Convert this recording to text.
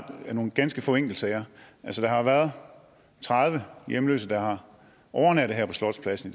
er nogle ganske få enkeltsager altså der har været tredive hjemløse der har overnattet her på slotspladsen